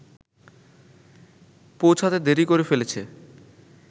পৌঁছাতে দেরি করে ফেলেছে